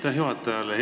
Aitäh juhatajale!